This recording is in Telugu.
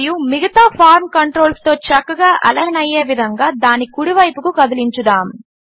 మరియు మిగతా ఫార్మ్ కంట్రోల్స్తో చక్కగా అలైన్ అయ్యే విధంగా దాని కుడివైపుకు కదిలించుదాము